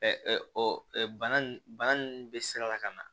bana ninnu bɛ sira la ka na